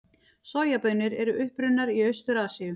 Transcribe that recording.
Sojabaunir eru upprunnar í Austur-Asíu.